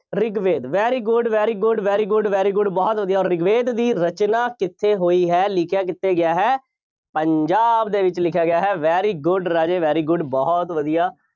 Rigveda very good, very good, very good, very good ਬਹੁਤ ਵਧੀਆ, ਰਿਗਵੇਦ ਦੀ ਰਚਨਾ ਕਿੱਥੇ ਹੋਈ ਹੈ, ਲਿਖਿਆ ਕਿੱਥੇ ਗਿਆ ਹੈ। ਪੰਜਾਬ ਦੇ ਵਿੱਚ ਲਿਖਿਆ ਗਿਆ ਹੈ। very good ਰਾਜੇ very good ਬਹੁਤ ਵਧੀਆ।